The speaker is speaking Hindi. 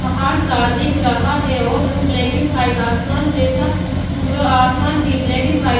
पहाड़ सा दिख रहा हैऔर जो ब्लैक एंड वाइट आसमान जैसा पूरा आसमान भी ब्लैक एंड वाइट --